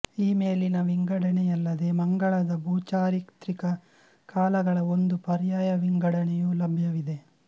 ಈ ಮೇಲಿನ ವಿಂಗಡಣೆಯಲ್ಲದೆ ಮಂಗಳದ ಭೂಚಾರಿತ್ರಿಕ ಕಾಲಗಳ ಒಂದು ಪರ್ಯಾಯ ವಿಂಗಡಣೆಯೂ ಲಭ್ಯವಿದೆ